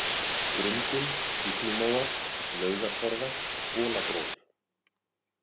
Grundin, Illumóar, Laugatorfa, Bolagróf